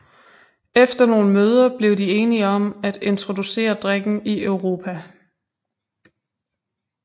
Efter nogle møder blev de enige om at introducere drikken i Europa